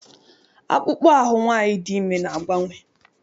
Akpụkpọ ahụ nwaanyị dị ime na-agbanwe.